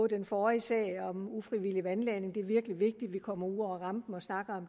den forrige sag om ufrivillig vandladning er det virkelig vigtigt at vi kommer ud over rampen og snakker